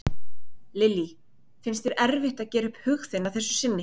Lillý: Finnst þér erfitt að gera upp hug þinn að þessu sinni?